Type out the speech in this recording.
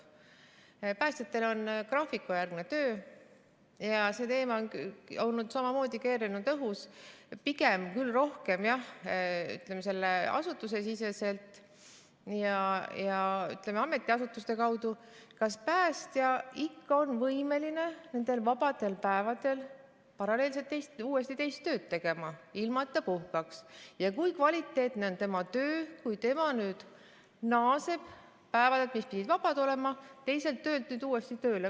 Päästjatel on graafikujärgne töö ja samamoodi on keerelnud õhus teema – pigem küll rohkem, jah, ütleme, asutusesiseselt ja ametiasutuste kaudu –, kas päästja ikka on võimeline nendel vabadel päevadel paralleelselt uuesti teist tööd tegema, ilma et ta puhkaks, ja kui kvaliteetne on tema töö, kui tema nüüd naaseb päevadelt, mis pidid vabad olema, teiselt töölt nüüd uuesti tööle.